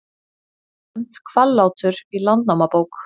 Nefnt Hvallátur í Landnámabók.